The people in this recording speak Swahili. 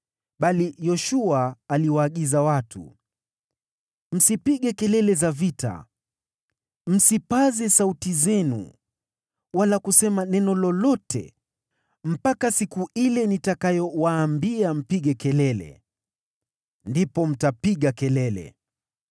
Bali Yoshua alikuwa amewaagiza watu, “Msipige kelele ya vita, msipaze sauti zenu, wala kusema neno lolote mpaka siku ile nitakayowaambia mpige kelele. Ndipo mtapiga kelele!”